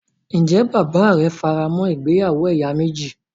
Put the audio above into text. Ǹjẹ́ bàbáà rẹ faramọ́ ìgbéyàwó ẹ̀yà méjì.